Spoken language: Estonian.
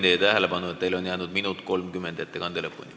Ma juhin tähelepanu, et teil on jäänud ettekande lõpuni 1 minut ja 30 sekundit.